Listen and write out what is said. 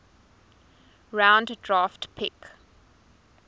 round draft pick